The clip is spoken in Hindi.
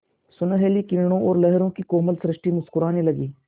सुनहली किरणों और लहरों की कोमल सृष्टि मुस्कराने लगी